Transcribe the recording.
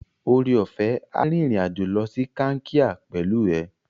Oreọ̀fẹ́ a rìnrìn-àjò lọ sí Kankia pẹ̀lú ẹ.